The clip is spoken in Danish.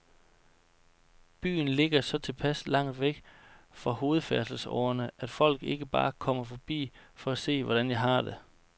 Byen ligger så tilpas langt væk fra hovedfærdselsårerne, at folk ikke bare kommer forbi for at se, hvordan jeg har det.